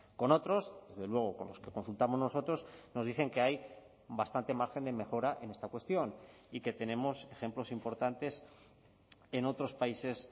con otros desde luego con los que consultamos nosotros nos dicen que hay bastante margen de mejora en esta cuestión y que tenemos ejemplos importantes en otros países